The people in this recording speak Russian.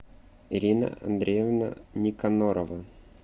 ирина андреевна никонорова